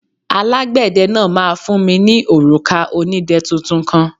Alágbẹ̀dẹ náà máa fún mi ní òrùka onídẹ tuntun kan.